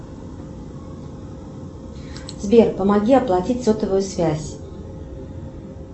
сбер помоги оплатить сотовую связь